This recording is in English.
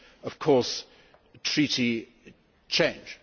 of course Treaty change.